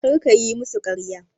Kar kayi musu ƙarya!